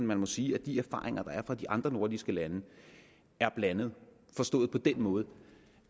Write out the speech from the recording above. man må sige at de erfaringer der er fra de andre nordiske lande er blandede forstået på den måde